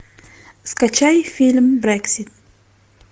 скачай фильм брекси